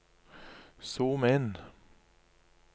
zoom inn